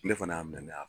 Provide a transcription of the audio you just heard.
Ne fana y'a minɛ ne y'a